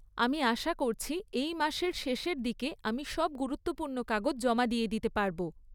আমি আশা করছি এই মাসের শেষের দিকে আমি সব গুরুত্বপূর্ণ কাগজ জমা দিয়ে দিতে পারব।